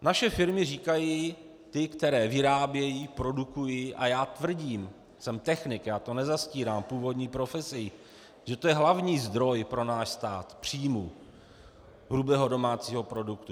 Naše firmy říkají, ty, které vyrábějí, produkují, a já tvrdím, jsem technik, já to nezastírám, původní profesí, že to je hlavní zdroj pro náš stát příjmů hrubého domácího produktu.